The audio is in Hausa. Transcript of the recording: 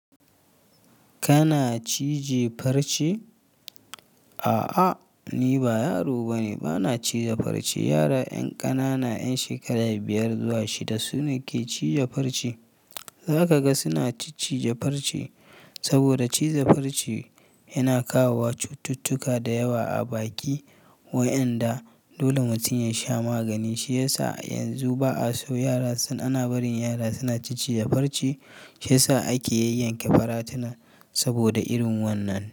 Kana cije farce? A'a, ni ba yaro bane, bana cije farce. Yara 'yan ƙanana, 'yan shekaru biyar zuwa shida su ne ke cije farce. Za ka ga suna ciccije farce saboda cije farce yana kawowa cututtuka da yawa a baki. Wa'enda dole mutum ya sha magani shiyasa yanzu ba a so yara, su ana barin yara suna ciccije farce shiyasa ake yayyanke faratina taboda irin wannan.